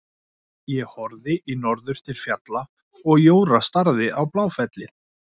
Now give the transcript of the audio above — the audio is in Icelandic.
Hann horfði í norður til fjalla og Jóra starði á Bláfellið.